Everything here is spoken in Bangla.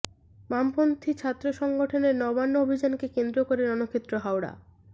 বামপন্থি ছাত্র সংগঠনের নবান্ন অভিযানকে কেন্দ্র করে রণক্ষেত্র হাওড়া